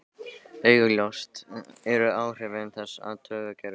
Augljósust eru áhrif þess á taugakerfið.